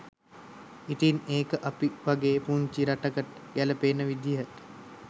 ඉතින් ඒක අපි වගේ පුංචි රටකට ගැලපෙන විදිහට